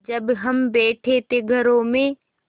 जब हम बैठे थे घरों में